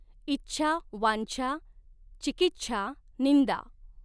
इछ्या वांछ्या चिकिछ्या निंदा।